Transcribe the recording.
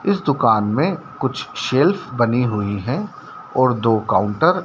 इस दुकान में कुछ शेल्फ बनी हुई हैं और दो काउंटर --